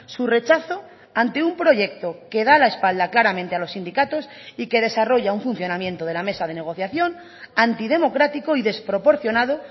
su rechazo ante un proyecto que da la espalda claramente a los sindicatos y que desarrolla un funcionamiento de la mesa de negociación antidemocrático y desproporcionado